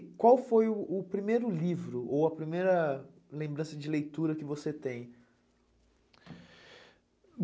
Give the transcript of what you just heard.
E qual foi o o primeiro livro ou a primeira lembrança de leitura que você tem?